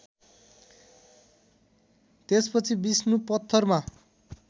त्यसपछि विष्णु पत्थरमा